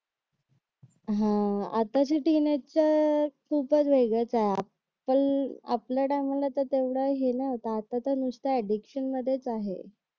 हा आताचे तीन आहेत तर खूपच वेगळ आहेत एप्पल आपल्या टायमाला काय एवढा हे नव्हता आता तर नुसतं एडिक्शन मध्येच आहे